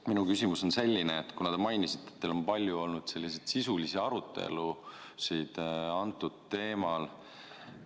Minu küsimus on selline, kuna te mainisite, et teil on olnud palju sisulisi arutelusid antud teemal.